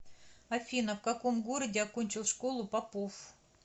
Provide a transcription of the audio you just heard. афина в каком городе окончил школу попов